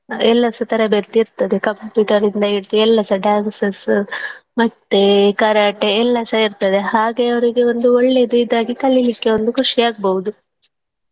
ಎಲ್ಲ ಸ ತರಬೇತಿ ಇರ್ತದೆ computer ನಿಂದ ಹಿಡ್ದು ಎಲ್ಲಾ ಸ dances ಮತ್ತೇ Karate ಎಲ್ಲಸ ಇರ್ತದೆ ಹಾಗಾಗಿ ಅವ್ರಿಗೆ ಒಂದು ಒಳ್ಳೆದು ಇದಾಗಿ ಕಲೀಲಿಕ್ಕೆ ಒಂದು ಖುಷಿಯಾಗ್ಬೋದು.